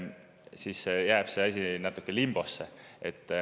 Siis jääb see asi natuke limbosse.